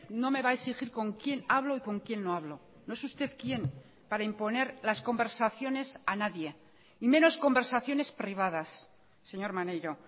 no me va a exigir con quién hablo y con quién no hablo no es usted quién para imponer las conversaciones a nadie y menos conversaciones privadas señor maneiro